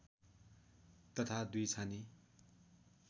तथा दुई छाने